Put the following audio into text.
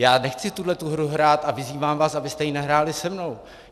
Já nechci tuhletu hru hrát a vyzývám vás, abyste ji nehráli se mnou.